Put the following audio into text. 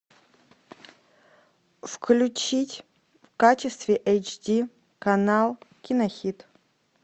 включить в качестве эйч ди канал кинохит